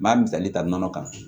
N m'a misali ta nɔnɔ kan